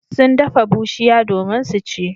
Sun dafa bushiya domin su ci.